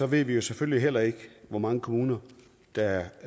ved vi jo selvfølgelig heller ikke hvor mange kommuner der